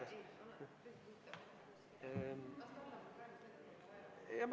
Eesti Konservatiivse Rahvaerakonna võetud vaheaeg on läbi.